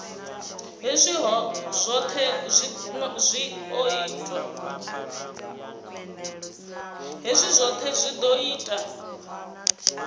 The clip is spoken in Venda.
hezwi zwohe zwi o ita